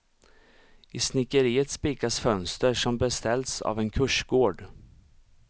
I snickeriet spikas fönster som beställts av en kursgård.